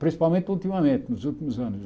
Principalmente ultimamente, nos últimos anos.